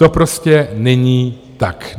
To prostě není tak.